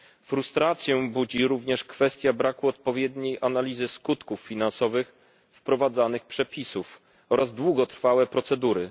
Frustrację budzi również kwestia braku odpowiedniej analizy skutków finansowych wprowadzanych przepisów oraz długotrwałe procedury.